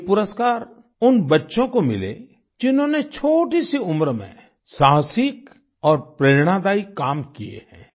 ये पुरस्कार उन बच्चों को मिले जिन्होंने छोटीसी उम्र में साहसिक और प्रेरणादायी काम किए हैं